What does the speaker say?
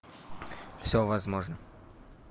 всё возможно